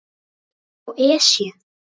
hjá Esju.